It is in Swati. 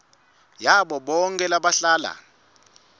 yabo bonkhe labahlala